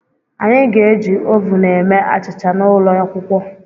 Anyị ga-eji ovun eme achịcha n'ụlọ akwụkwọ.